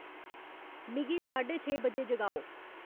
मिगी साढे छे बजे जगाओ